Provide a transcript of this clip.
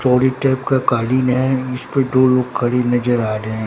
चौड़ी टेप का कालीन है इसपे दो लोग खड़े नजर आ रहे--